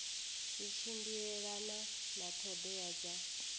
zwi tshimbilelana na ṱhoḓea dza